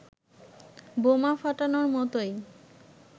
বোমা ফাটানোর মতোই